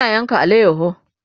Ina yanka alayaho